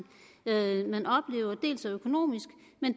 man oplever dels er økonomisk